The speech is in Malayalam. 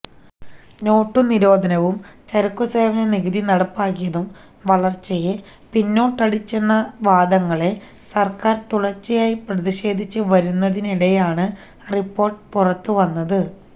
നോട്ടുനിരോധനവും ചരക്കുസേവന നികുതി നടപ്പാക്കിയതും വളര്ച്ചയെ പിന്നോട്ടടിച്ചെന്ന വാദങ്ങളെ സര്ക്കാര് തുടര്ച്ചയായി പ്രതിരോധിച്ച് വരുന്നതിനിടെയാണ് റിപ്പോര്ട്ട് പുറത്തുവന്നത്